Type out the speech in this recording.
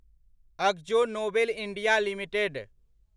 Akzo Nobel India limited